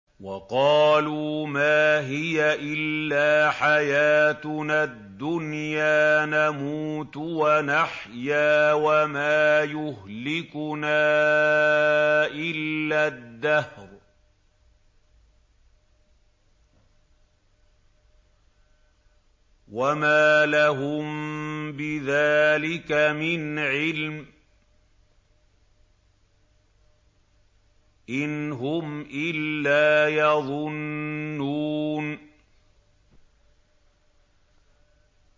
وَقَالُوا مَا هِيَ إِلَّا حَيَاتُنَا الدُّنْيَا نَمُوتُ وَنَحْيَا وَمَا يُهْلِكُنَا إِلَّا الدَّهْرُ ۚ وَمَا لَهُم بِذَٰلِكَ مِنْ عِلْمٍ ۖ إِنْ هُمْ إِلَّا يَظُنُّونَ